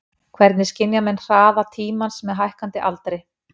Hvernig skynja menn hraða tímans með hækkandi aldri?